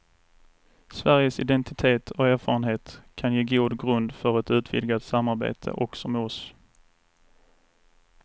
Sveriges identitet och erfarenhet kan ge god grund för ett utvidgat samarbete också med oss.